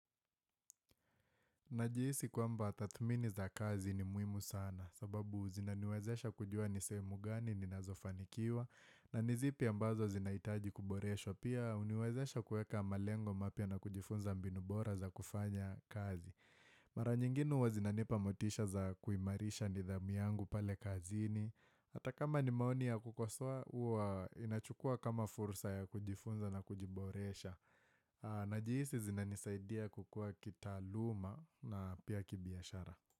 Najihisi kwamba tadhmini za kazi ni muhimu sana sababu zinaniwezesha kujua nisehemu gani ni nazofanikiwa na nizipi ambazo zinahitaji kuboreshwa pia huniwezesha kueka malengo mapya na kujifunza mbinu bora za kufanya kazi. Mara nyingine huwa zinanipa motisha za kuimarisha nidhamu yangu pale kazini Hata kama nimaoni ya kukosoa huwa inachukua kama fursa ya kujifunza na kujiboresha Najihisi zinanisaidia kukua kitaaluma na pia kibiashara.